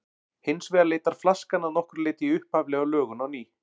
Hins vegar leitar flaskan að nokkru leyti í upphaflega lögun á ný.